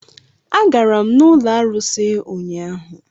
Agara m n'ụlọ arụsị ụnyaahụ.